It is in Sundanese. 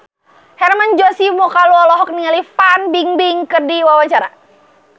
Hermann Josis Mokalu olohok ningali Fan Bingbing keur diwawancara